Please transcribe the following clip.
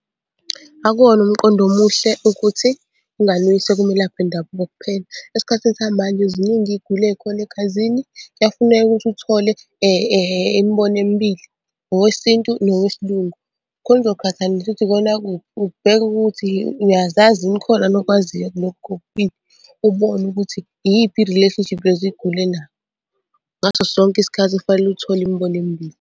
Akuwona umqondo omuhle ukuthi ingane uyise kumelaphi wendabuko kuphela. Esikhathini samanje ziningi iy'gulo ey'khona egazini, kuyafuneka ukuthi uthole imibono emibili, owesintu nowesilungu. Khona uzoqhathanisa ukuthi ikona kuphi, ubheke ukuthi uyazazi yini, khona yini okwaziyo kulokhu kokubili. Ubone ukuthi iyiphi i-relationship yeziguli ela, ngaso sonke isikhathi kufanele uthole imibono emibili.